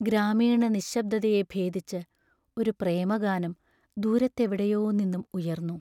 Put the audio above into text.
ഗ്രാമീണ നിശ്ശബ്ദതയെ ഭേദിച്ച്, ഒരു പ്രേമഗാനം ദൂരത്തെവിടെയോ നിന്നും ഉയർന്നു.